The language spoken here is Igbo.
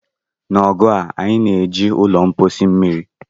N'oge a, anyị na-eji ụlọ mposi mmiri